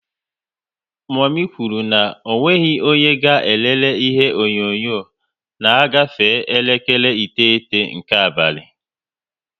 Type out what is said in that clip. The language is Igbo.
Momi kwuru na onweghi onye ga elele ihe onyonyo na ọ gafe elekere iteghete nke abalị